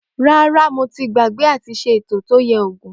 Ràrá, mó tì gbàgbẹ àtí sẹ ẹtọ tó yẹ ògún.